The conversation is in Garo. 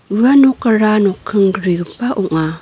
ua nokara nokking grigipa ong·a.